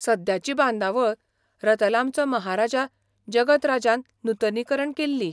सद्याची बांदावळ रतलामचो महाराजा जगत राजान नूतनीकरण केल्ली.